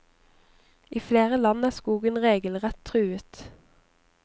I flere land er skogen regelrett truet.